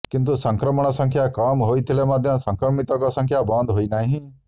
କିନ୍ତୁ ସଂକ୍ରମଣ ସଂଖ୍ୟା କମ୍ ହୋଇଥିଲେ ମଧ୍ୟ ସଂକ୍ରମିତଙ୍କ ସଂଖ୍ୟା ବନ୍ଦ ହୋଇନାହିଁ